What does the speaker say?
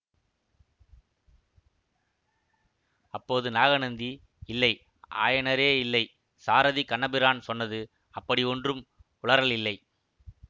அப்போது நாகநந்தி இல்லை ஆயனரே இல்லை சாரதி கண்ணபிரான் சொன்னது அப்படி ஒன்றும் உளறல் இல்லை